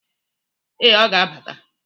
Ee, ọ ga-abata.